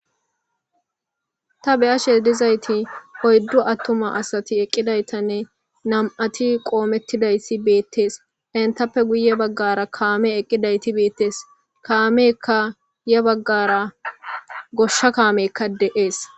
ta beyashe dizayti hoyddu attuma asati eqqidaytanne nam7ati qoomettidayssi beettees entappe guye baggara kaame eqqidayti beettees kaamekka ya baggara goshsha kaamekka de7ees